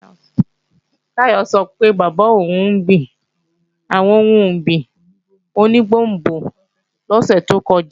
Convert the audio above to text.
Táyọ̀ sọ pé bàbá òun gbin àwọn ohun ọ̀gbìn oní gbòngbò lósù tó kọjá